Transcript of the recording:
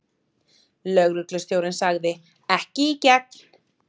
Lögreglustjórinn sagði: Ekki í gegn.